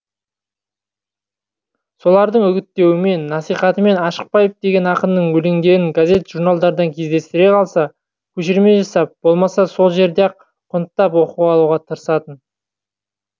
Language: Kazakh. солардың үгіттеуімен насихатымен ашықбаев деген ақынның өлеңдерін газет журналдардан кездестіре қалса көшірме жасап болмаса сол жерде ақ құнттап оқып алуға тарысатын